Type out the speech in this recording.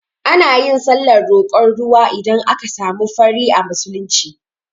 Anayin sallar roƙon ruwa idan aka samu fari a musulunci